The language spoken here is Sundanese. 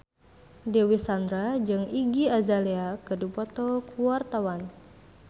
Dewi Sandra jeung Iggy Azalea keur dipoto ku wartawan